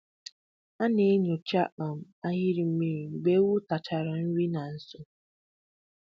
A na-enyocha um ahịrị mmiri mgbe ewu tachara nri na nso.